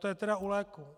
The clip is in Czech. To je tedy u léků.